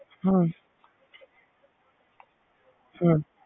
ਹਾਂ ਹਾਂ